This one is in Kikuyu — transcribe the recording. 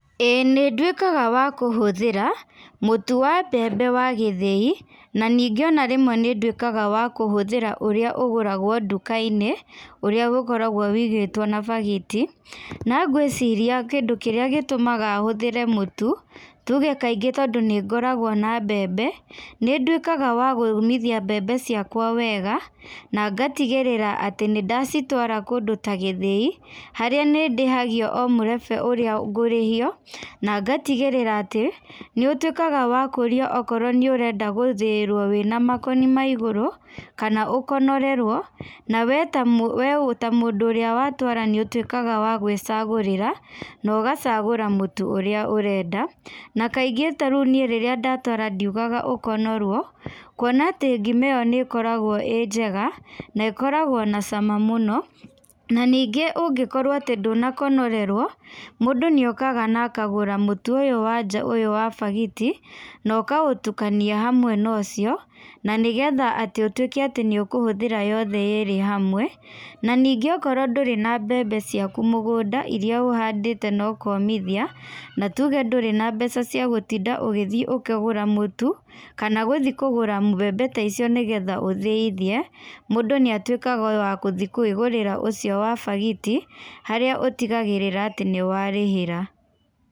Ĩĩ nĩ nduĩkaga wa kũhũthĩra, mũtu wa mbembe wa gĩthĩi. Na ningĩ ona rĩmwe nĩ nduĩkaga wa kũhũthĩra ũrĩa ũgũragwo nduka-inĩ, ũrĩa ũkoragwo wĩigĩthwo na bagiti. Na ngwĩciria kĩndũ kĩrĩa gĩtũmaga hũthĩre mũtu, tuge kaingĩ tondũ nĩ ngoragwo na mbembe. Nĩ nduĩkaga wa gũũmithia mbembe ciakwa wega, na ngatigĩrĩra atĩ nĩ ndacitwara kũndũ ta gĩthĩi. Harĩa nĩ ndĩhagio o mũrebe ũrĩa ngũrĩhio, na ngatigĩrĩra atĩ, nĩ ũtuĩkaga wa kũũrio okorwo nĩ ũrenda gũthĩĩrwo wĩna makoni ma igũrũ, kana ũkonorerwo. Na wee ta wee ta mũndũ ũrĩa watwara nĩ ũtuĩkaga wa gwĩcagũrĩra, na ũgacagũra mũtu ũrĩa ũrenda. Na kaingĩ ta rĩu niĩ rĩrĩa ndatwara ndiugaga ũkonorwo, kuona atĩ ngima ĩyo nĩ ĩkoragwo ĩĩ njega, na ĩkoragwo na cama mũno. Na ningĩ ũngĩkorwo atĩ ndũnakonorerwo, mũndũ nĩ okaga na akagũra mũtu ũyũ wa nja ũyũ wa bagiti, na ũkaũtukania hamwe na ũcio, na nĩgetha atĩ ũtuĩke atĩ nĩ ũkũhũthĩra yothe yeerĩ hamwe. Na ningĩ okorwo ndũrĩ na mbembe ciaku mũgũnda irĩa ũhandĩte na ũkomithia, na tuge ndũrĩ na mbeca cia gũtinda ũgĩthi ũkĩgũra mũtu, kana gũthi kũgũra mbembe ta icio nĩgetha ũthĩithie, mũndũ nĩ atuĩkaga o wa gũthi kwĩgũrĩra ũcio wa bagiti, harĩa ũtigagĩrĩra atĩ nĩ warĩhĩra.